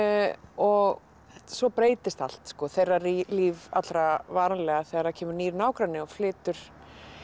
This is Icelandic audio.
og svo breytist allt þeirra líf allra varanlega þegar það kemur nýr nágranni og flytur